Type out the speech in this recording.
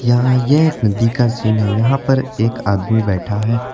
हाँ यह एक नदी का सीन है यहां पर एक आदमी बैठा है।